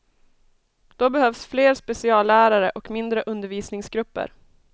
Då behövs fler speciallärare och mindre undervisningsgrupper.